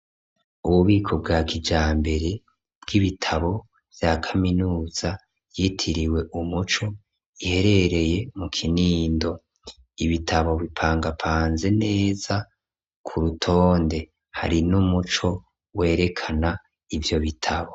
Ububiko bwa kijambere bw'ibitabo vya kaminuza yitiriwe umuco, iherereye mu Kinindo. Ibitabo bipangapanze neza ku rutonde, hari n'umuco werekana ivyo bitabo.